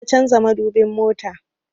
Yau na canza madubin motan